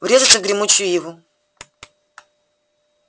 врезаться в гремучую иву